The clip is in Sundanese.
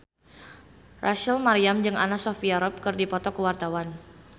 Rachel Maryam jeung Anna Sophia Robb keur dipoto ku wartawan